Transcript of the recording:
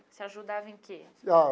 Você ajudava em que?